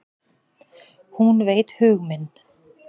Hún veit hug minn.